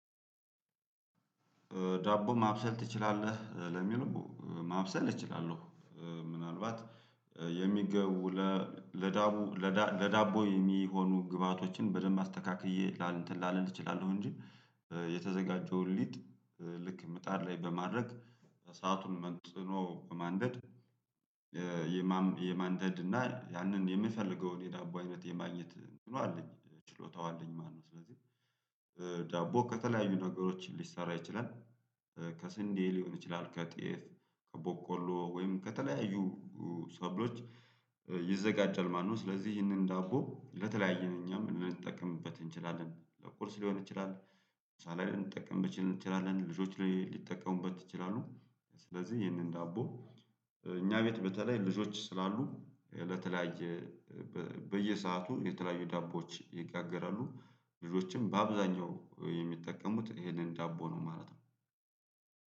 ዳቦ ማብሰል ትችላለህ? ለሚለው ማብሰል እችላለሁ። ምናልባት የሚገቡ ለዳቦ ለዳቦ የሚሆኑ ግብአቶችን በደንብ አስተካክዬ ላል እንትን ላልል እችላለሁ እንጂ የተዘጋጀውን ሊጥ ልክ ምጣድ ላይ በማድረግ እሳቱን መጥኖ በማንደድ የማንደድ እና ያንን የምፈልገውን የዳቦ አይነት የማግኘት እንትኑ አለኝ ችሎታው አለኝ ማለት ነው። ስለዚህ ዳቦ ከተለያዩ ነገሮች ሊሰራ ይችላል ከስንዴ ሊሆን ይችላል ከጤፍ ከቦቆሎ ወይም ከተለያዩ ሰብሎች ይዘጋጃል ማለት ነው። ስለዚህ ይህንን ዳቦ ለተለያየ ነው እኛም ልንጠቀምበት እንችላለን ቁርስ ሊሆን ይችላል። ምሳላይ ልንጠቀምበት እንችላለን ልጆች ሊጠቀሙበት ይችላሉ። ስለዚህ ይህንን ዳቦ እኛ ቤት በተለይ ልጆች ስላሉ ለተለያየ በየሰአቱ የተለያዩ ዳቦዎች ይጋገራሉ። ልጆችም በአብዛኛው የሚጠቀሙት ይሄንን ዳቦ ነው ማለት ነው።